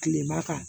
Kilema kan